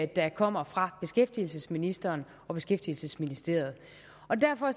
der kommer fra beskæftigelsesministeren og beskæftigelsesministeriet og derfor